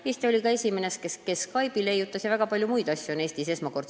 Eesti oli esimene, kes Skype'i leiutas, ja ka väga palju muid asju on esmakordselt Eestis tehtud.